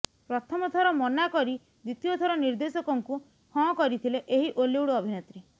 ପ୍ରଥମ ଥର ମନା କରି ଦ୍ୱିତୀୟ ଥର ନିର୍ଦ୍ଦେଶକଙ୍କୁ ହଁ କରିଥିଲେ ଏହି ଓଲିଉଡ୍ ଅଭିନେତ୍ରୀ